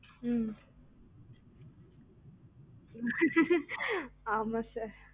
ம் ம்